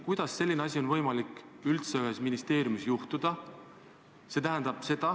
Kuidas on võimalik, et selline asi üldse ühes ministeeriumis juhtub?